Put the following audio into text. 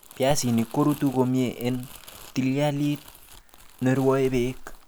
Piasinik korutu komie en ptilialit nerwoe beek